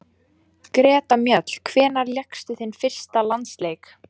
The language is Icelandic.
Greta Mjöll Hvenær lékstu þinn fyrsta landsleik?